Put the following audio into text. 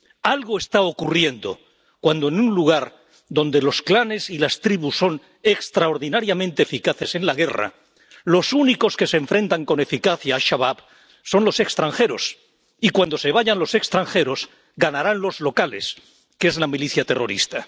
Algo está ocurriendo cuando en un lugar donde los clanes y las tribus son extraordinariamente eficaces en la guerra, los únicos que se enfrentan con eficacia a Al Shabab son los extranjeros, y cuando se vayan los extranjeros, ganarán los locales, que es la milicia terrorista.